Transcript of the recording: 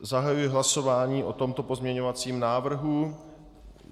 Zahajuji hlasování o tomto pozměňovacím návrhu.